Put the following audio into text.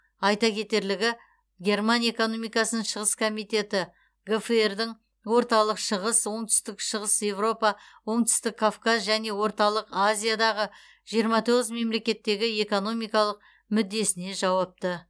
айта кетерлігі герман экономикасының шығыс комитеті гфр дың орталық шығыс оңтүстік шығыс европа оңтүстік кавказ және орталық азиядағы жиырма тоғыз мемлекеттегі экономикалық мүддесіне жауапты